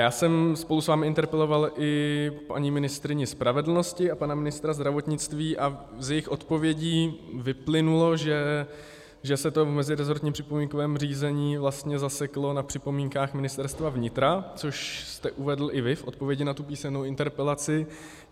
Já jsem spolu s vámi interpeloval i paní ministryni spravedlnosti a pana ministra zdravotnictví a z jejich odpovědí vyplynulo, že se to v mezirezortním připomínkovém řízení vlastně zaseklo na připomínkách Ministerstva vnitra, což jste uvedl i vy v odpovědi na tu písemnou interpelaci.